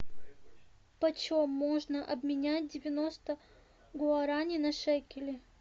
почем можно обменять девяносто гуарани на шекели